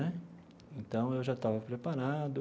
Né então, eu já estava preparado.